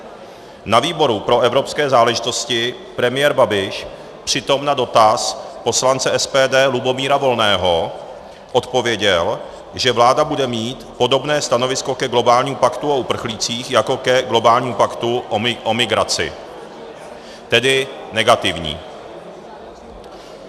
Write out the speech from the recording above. Na výboru pro evropské záležitosti premiér Babiš přitom na dotaz poslance SPD Lubomíra Volného odpověděl, že vláda bude mít podobné stanovisko ke globálnímu paktu o uprchlících jako ke globálnímu paktu o migraci, tedy negativní.